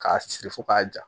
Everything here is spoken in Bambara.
K'a siri fo k'a ja